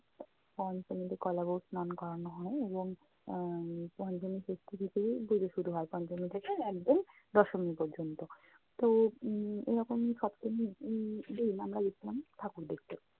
পঞ্চমীতে কলা বউ স্নান করানো হয় এবং আহ পঞ্চমী ষষ্ঠী থেকেই পূজো শুরু হয়, পঞ্চমী থেকে একদম দশমী পর্যন্ত। তো উম এরকম সপ্তমীর উম দিন আমরা গেছিলাম ঠাকুর দেখতে।